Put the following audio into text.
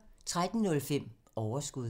13:05: Overskud